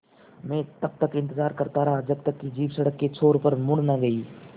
मैं तब तक इंतज़ार करता रहा जब तक कि जीप सड़क के छोर पर मुड़ न गई